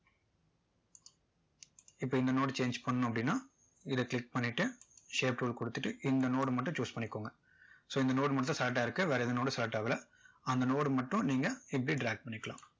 இப்போ இந்த nodechange பண்ணணும் அப்படின்னா இதை click பண்ணிட்டு shape tool கொடுத்துட்டு இந்த node மட்டும் choose பண்ணிக்கோங்க so இந்த node மட்டும் select ஆயிருக்கு வேற எந்த node டும் select ஆகல அந்த node மட்டும் நீங்க இப்படி drag பண்ணிக்கலாம்